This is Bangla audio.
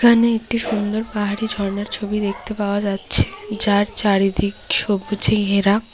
এখানে একটি সুন্দর পাহাড়ি ঝরনার ছবি দেখতে পাওয়া যাচ্ছে যার চারিদিক সবুজে ঘেরা।